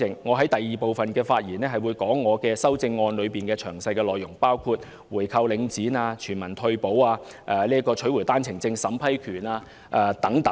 我會在第二個環節講述我的修正案的詳細內容，包括回購領展、全民退休保障，以及取回單程證審批權等。